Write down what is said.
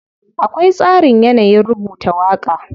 Akwai tsarin yanayin rubuta waƙa.